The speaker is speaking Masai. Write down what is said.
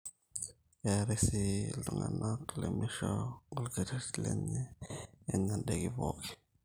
keetae sii iltungana lemeisho olkerreti lenye enya ndaiki pooki ake